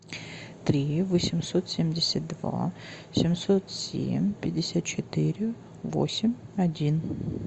три восемьсот семьдесят два семьсот семь пятьдесят четыре восемь один